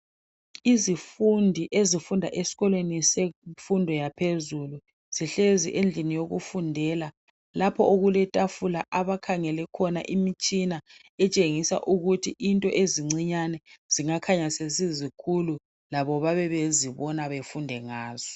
Izifundi ezifunda eskolweni semfundo yaphezulu. Zihlezi endlini yokufundela lapho okuletafula abakhangele khona imitshina etshengisa ukuthi into ezincinyane zingakhanya sesizinkulu. Labo babebezibona befunde ngazo.